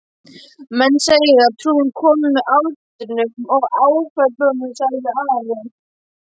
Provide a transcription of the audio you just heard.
Menn segja trúin komi með aldrinum og áföllunum, sagði Ari.